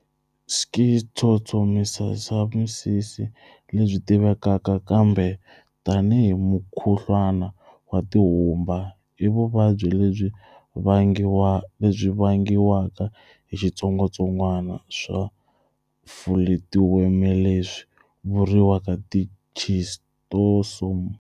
Schistosomiyasisi, lebyi tivekaka kambe tanihi mukhuhlwana wa tihumba, ivuvabyi lebyi vangiwaka hi xitsongwatsongwana swa fuletiwemeleswi vuriwaka tischistosome.